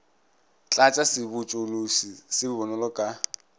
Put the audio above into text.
tlatša sebotšološi se bonolo ka